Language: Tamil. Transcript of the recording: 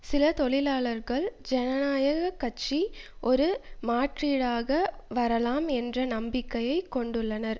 சில தொழிலாளர்கள் ஜனநாயக கட்சி ஒரு மாற்றீடாக வரலாம் என்ற நம்பிக்கையை கொண்டுள்ளனர்